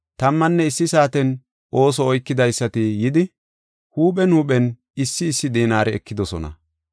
Tammanne issi saaten ooso oykidaysati yidi, huuphen huuphen issi issi dinaare ekidosona.